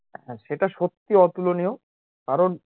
হ্যাঁ সেটা সত্যি অতুলনীয় কারণ